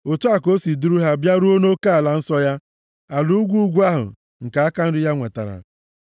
Otu a ka o si duru ha bịaruo nʼoke ala nsọ ya, ala ugwu ugwu ahụ nke aka nri ya nwetara.